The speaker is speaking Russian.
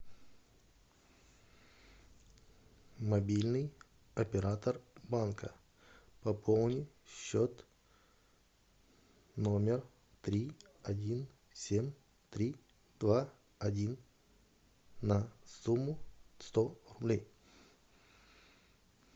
мобильный оператор банка пополни счет номер три один семь три два один на сумму сто рублей